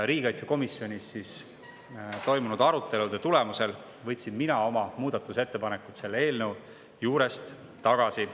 Riigikaitsekomisjonis toimunud arutelude tulemusel võtsin mina oma muudatusettepanekud selle eelnõu kohta tagasi.